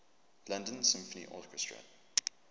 london symphony orchestra